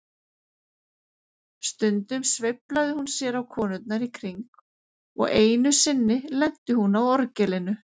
Stundum sveiflaði hún sér á konurnar í kring og einu sinni lenti hún á orgelinu.